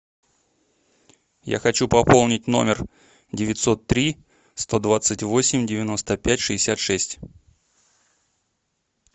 я хочу пополнить номер девятьсот три сто двадцать восемь девяносто пять шестьдесят шесть